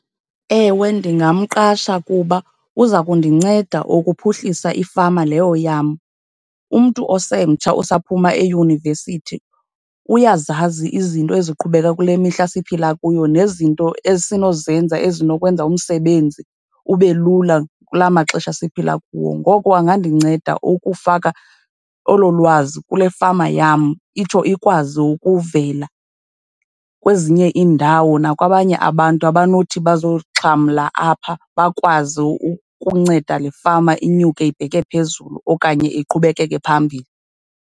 Ewe, ndingamqasha kuba uza kundinceda ukuphuhlisa ifama leyo yam. Umntu osemtsha, osaphuma eyunivesithi uyazazi izinto eziqhubeka kule mihla siphila kuyo nezinto esinozenza ezinokwenza umsebenzi ube lula kula maxesha siphila kuwo. Ngoko angandinceda ukufaka olo lwazi kule fama yam, itsho ikwazi ukuvela kwezinye iindawo nakwabanye abantu abanothi bazoxhamla apha, bakwazi ukunceda le fama inyuke ibheke phezulu okanye iqhubekeke phambili.